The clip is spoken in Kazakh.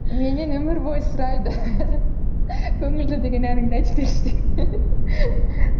менен өмір бойы сұрайды көңілді деген әніңді айтып берші деп